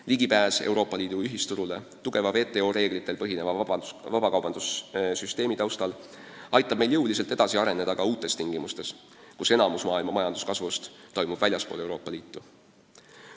Ligipääs Euroopa Liidu ühisturule tugeva WTO reeglitel põhineva vabakaubandussüsteemi taustal aitab meil jõuliselt edasi areneda ka uutes tingimustes, kus enamik majanduskasvust maailmas saab teoks väljaspool Euroopa Liitu.